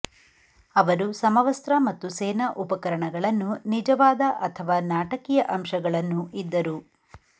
ಅವರು ಸಮವಸ್ತ್ರ ಮತ್ತು ಸೇನಾ ಉಪಕರಣಗಳನ್ನು ನಿಜವಾದ ಅಥವಾ ನಾಟಕೀಯ ಅಂಶಗಳನ್ನು ಇದ್ದರು